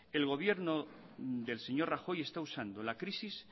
el gobierno del señor rajoy está usando la crisis